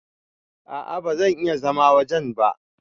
A'a ba zan iya zama wajen ba.